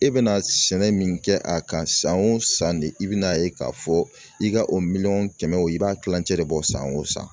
E bɛna sɛnɛ min kɛ a kan san o san de i bɛna a ye k'a fɔ i ka o miliyɔn kɛmɛ wo i b'a kilancɛ de bɔ san o san